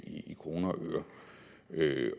i kroner